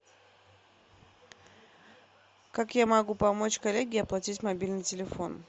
как я могу помочь коллеге оплатить мобильный телефон